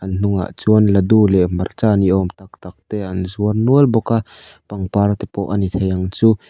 a hnungah chuan ladu leh hmarcha ni awm tak tak te an zuar nual bawk a pangpar te pawh a ni thei ang chu.